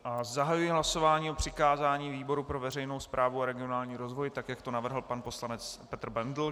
Zahajuji hlasování o přikázání výboru pro veřejnou správu a regionální rozvoj, tak jak to navrhl pan poslanec Petr Bendl.